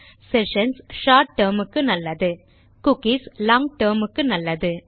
sessions short term க்கு நல்லது cookies long term க்கு நல்லது